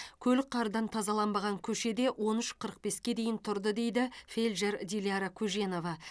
көлік қардан тазаланбаған көшеде он үш қырық беске дейін тұрды дейді фелдшер диляра көженова